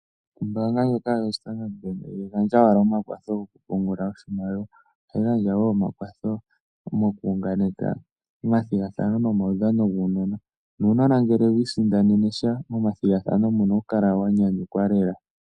Ombaanga ndjoka yoStandard Bank ihayi gandja owala omakwatho gokupungula oshimaliwa. Ohayi gandja omakwatho mokuunganeka omathigathano nomaudhano guunona. Nuunona ngele wi isindanene sha momathigathano muno ohawu kala wa nyanyukwa lela.